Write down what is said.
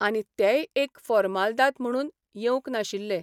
आनी तेय एक फोर्मालदाद म्हणून येवंक नाशिल्ले.